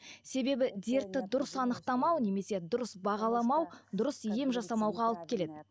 себебі дертті дұрыс анықтамау немесе дұрыс бағаламау дұрыс ем жасамауға алып келеді